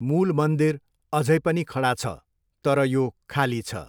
मूल मन्दिर अझै पनि खडा छ, तर यो खाली छ।